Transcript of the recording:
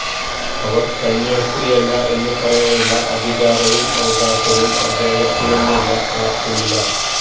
് അവര് കന്യാസ്ത്രീയല്ല എന്ന് പറയാനുള്ള അധികാരവും അവകാശവും അദ്ദേഹത്തിനെന്നല്ല ആര്ക്കുമില്ല